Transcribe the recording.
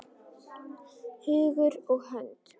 Hugur og hönd!